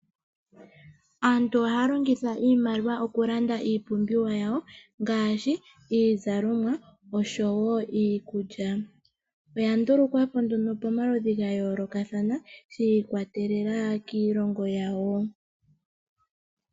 Aantu ohaya longitha iimaliwa okulanda iipumbiwa yawo ngaashi iizalomwa oshowo iikulya. Oyandulukwapo nduno pomaludhi gayoolokathana shiikwatelela kiilongo yawo.